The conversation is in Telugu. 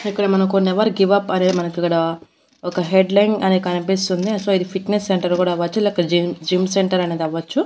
ఇక్కడ మనకు నెవర్ గివ్ అప్ అనే మనకిక్కడ ఒక హెడ్ లైన్ అనే కనిపిస్తుంది సో ఇది ఫిట్నెస్ సెంటర్ కూడా అవ్వచ్చు లేక జిమ్ జిమ్ సెంటర్ అనేదవ్వొచ్చు.